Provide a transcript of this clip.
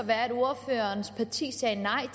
være at ordførerens parti sagde nej